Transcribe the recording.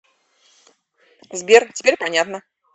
сбер теперь понятно